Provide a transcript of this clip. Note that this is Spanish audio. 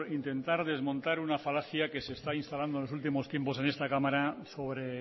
intentar desmontar una falacia que se está instalando en los últimos tiempos en esta cámara sobre